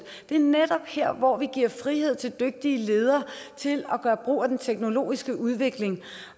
det er netop her hvor vi giver frihed til dygtige ledere til at gøre brug af den teknologiske udvikling